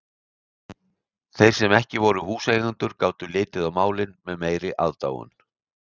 Þeir sem ekki voru húseigendur gátu litið á málið með meiri aðdáun.